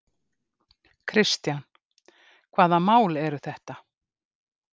Kristján: Hvaða mál eru þetta?